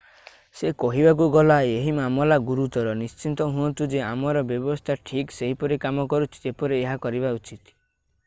ସେ କହିବାକୁ ଗଲା ଏହି ମାମଲା ଗୁରୁତର ନିଶ୍ଚିତ ହୁଅନ୍ତୁ ଯେ ଆମର ବ୍ୟବସ୍ଥା ଠିକ ସେହିପରି କାମ କରୁଛି ଯେପରି ଏହା କରିବା ଉଚିତ